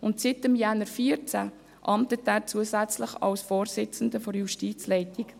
Seit Januar 2014 amtet er zusätzlich als Vorsitzender der Justizleitung.